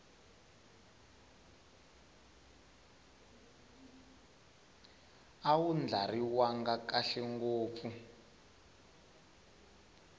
a wu ndlariwanga kahle ngopfu